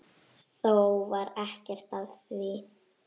Þó varð ekkert af því.